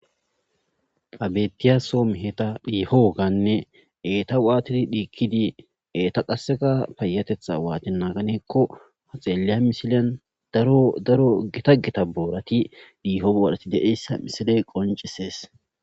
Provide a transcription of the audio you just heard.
Ha bettiya soom heta phiihoganne eeta waatidi dhiikkidi eeta qaseka payatetha waati naaganeekko ha xeelleya misileyan daro gita gita boorati dhiiho boorati deessa misile qoncisees